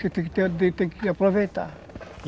Você aproveitar